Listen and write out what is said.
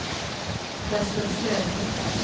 Träslövsläge